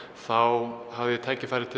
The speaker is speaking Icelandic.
þá hafði ég tækifæri til